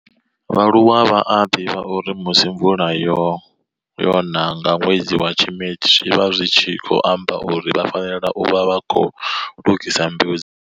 vha aluwa vha a divha uri musi mvula yona nga nwedzi wa Tshimedzi zwi vha zwi tshi khou amba uri vha fanela u vha vha khou lugisa mbeu dza.